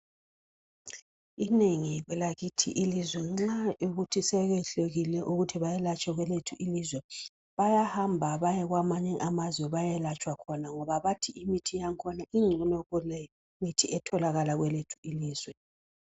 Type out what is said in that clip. Inengi kwelakithi ilizwe nxa kuyikuthi sekwehlulekile ukuthi bayelatshwe kwelethu ilizwe bayahamba baye kwamanye amazwe bayelatshwa khona ngoba bathi imithi yakhona ingcono kulemithi etholakala kwelethu ilizwe.